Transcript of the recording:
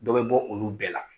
Dɔ bɛ bɔ olu bɛɛ la